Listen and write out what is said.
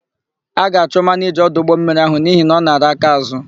A ga-achụ manịja ọdụ ụgbọmmiri áhụ̀ n'ihi na ọ nara akaázụ̀.